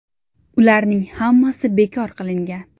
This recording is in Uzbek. Ularning hammasi bekor qilingan.